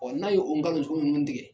n'a ye o nkalon sugu minnu tigɛ